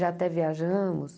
Já até viajamos.